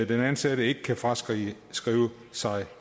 den ansatte ikke kan fraskrive sig